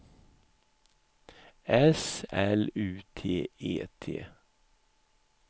S L U T E T